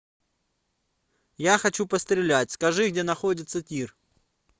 я хочу пострелять скажи где находится тир